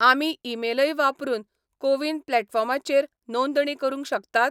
आमी ईमेलय वापरून कोविन प्लॅटफॉर्माचेर नोंदणी करूंक शकतात?